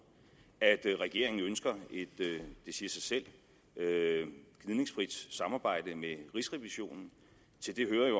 at regeringen ønsker et det siger sig selv gnidningsfrit samarbejde med rigsrevisionen